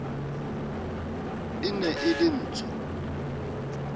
e ne e le ntsho